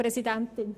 Ist dem nicht so?